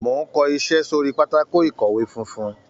Mò ń kọ iṣẹ́ sórí pátákò ìkọ̀wé fúnfún.